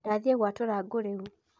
Ndathiĩ gwatura ngũ rĩu.